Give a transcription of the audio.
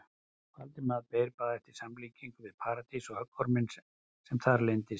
Valdimar beið bara eftir samlíkingu við Paradís og höggorminn sem þar leyndist.